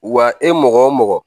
Wa e mɔgɔ o mɔgɔ